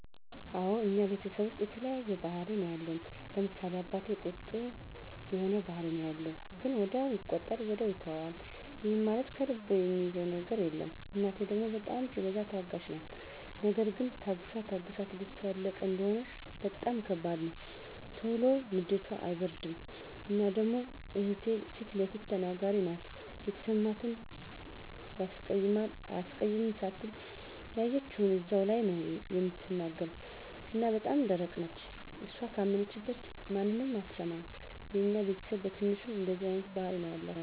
አወ እኛ ቤተሰብ ዉስጥ የተለያየ ባህሪ ነዉ ያለን፤ ለምሳሌ፦ አባቴ ቁጡ የሆነ ባህሪ ነዉ ያለዉ ግን ወዲያዉ ይቆጣል ወዲያዉ ይተወዋል ይህም ማለት ከልቡ እሚይዘዉ ነገር የለም፣ እናቴ ደሞ በጣም ሲበዛ ታጋሽ ናት ነገር ግን ታግሳ ታግሳ ትግስቷ ያለቀ እንደሆነ በጣም ከባድ ነዉ። ቶሎ ንዴቷ አይበርድም እና ደሞ እህቴ ፊለፊት ተናጋሪ ናት የተሰማትን ያስቀይማል አያስቀይምም ሳትል ያየችዉን እዛዉ ላይ ነዉ እምትናገር እና በጣም ደረቅ ነች እሷ ካመነችበት ማንንም አትሰማም። የኛ ቤተስብ በትንሹ እንደዚህ አይነት ባህሪ ነዉ ያላቸዉ።